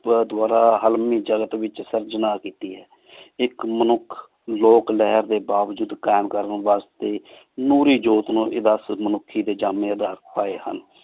ਦੁਵਾਰਾ ਹਲ੍ਮੀ ਜਲਤ ਵ੍ਵਿਚ ਸਰਜਣ ਕੀਤੀ ਆਯ ਇਕ ਮਨੁਖ ਲੋਕ ਲੇਹਾਰ ਡੀ ਵਜੂਦ ਕਾਇਮ ਕਰਨ ਵਾਸ੍ਟੀ ਨੂਰੀ ਜੋਤ ਨੂ ਇਹ ਦਸ ਮਨੁਖੀ ਡੀ ਜਮੀ ਅਧਾਰ ਪਾਏ ਹਨ